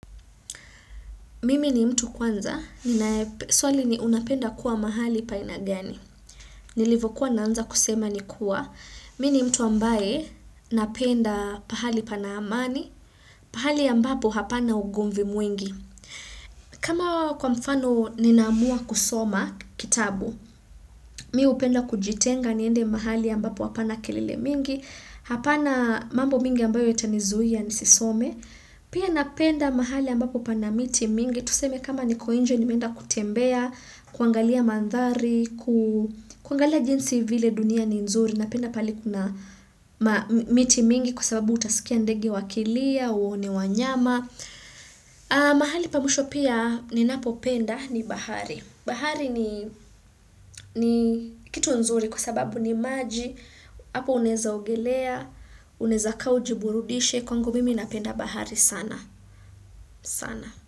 Mimi ni mtu kwanza, swali ni unapenda kuwa mahali paina gani. Nilivyokuwa naanza kusema ni kuwa, mi ni mtu ambaye napenda pahali pana amani, pahali ambapo hapana ugomvi mwingi. Kama kwa mfano ninaamua kusoma kitabu, mi hupenda kujitenga niende mahali ambapo hapana kelele mingi, hapana mambo mingi ambayo itanizuia nisisome. Pia napenda mahali ambapo pana miti mingi. Tuseme kama niko inje nimeenda kutembea, kuangalia mandhari, kuangalia jinsi vile dunia ni nzuri. Napenda pahali kuna miti mingi kwa sababu utasikia ndege wakilia, uone wanyama. Mahali pa mwisho pia ninapo penda ni bahari bahari ni kitu nzuri kwasababu ni maji hapo unaeza ogelea unaeza ka uji burudishe kwangu mimi napenda bahari sana sana.